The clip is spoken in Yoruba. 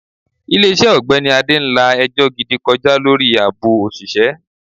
Ilé iṣẹ́ ogbeni Ade ń la ẹjọ́ gidi kọjá lórí àbò òṣìṣẹ́.